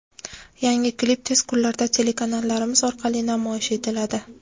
Yangi klip tez kunlarda telekanallarimiz orqali namoyish etiladi.